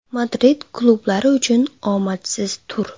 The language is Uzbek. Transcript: Madrid klublari uchun omadsiz tur.